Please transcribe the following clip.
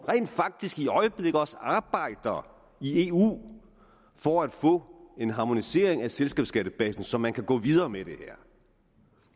rent faktisk i øjeblikket også arbejder i eu for at få en harmonisering af selskabsskattebasen så man kan gå videre med det her